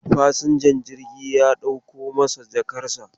Fasinjan jirgin ya dauko masa jakarsa.